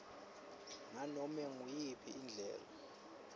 nganobe nguyiphi indlela